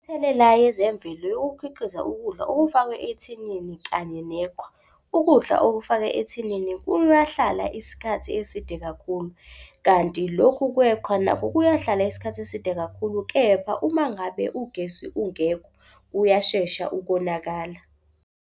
Imithelela yezemvelo yokukhiqiza ukudla okufakwe ethinini kanye neqhwa. Ukudla okufakwe ethinini kuyahlala isikhathi eside kakhulu kanti lokhu kweqhwa nakho kuyahlala isikhathi eside kakhulu. Kepha uma ngabe ugesi ungekho, uyashesha ukonakala.